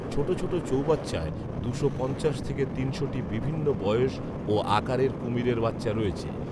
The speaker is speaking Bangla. ছোট ছোট চৌবাচ্চায় দুশো পঞ্চাশ থেকে তিনশোটি বিভিন্ন বয়স ও আকারের কুমিরের বাচ্চা রয়েছে।